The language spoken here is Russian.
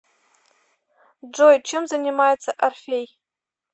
джой чем занимается орфей